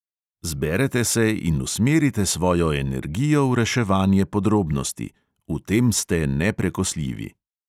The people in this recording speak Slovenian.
Zberete se in usmerite svojo energijo v reševanje podrobnosti, v tem ste neprekosljivi.